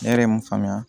Ne yɛrɛ mun faamuya